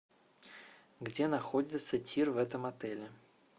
где находится тир в этом отеле